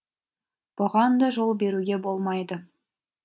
бұған да жол беруге болмайды